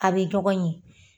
A be dɔgɔ ɲɛ.